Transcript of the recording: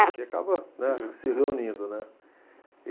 Porque acaba, né, se reunindo, né?